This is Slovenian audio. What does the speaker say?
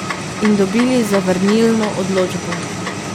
In dobili zavrnilno odločbo.